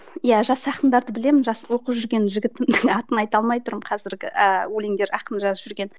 иә жас ақындарды білемін жас оқып жүрген жігіттің атын айта алмай тұрмын қазіргі ііі өлеңдер ақын жазып жүрген